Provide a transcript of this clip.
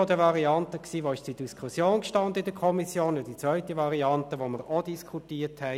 Erlauben Sie mir einen kurzen Rückblick.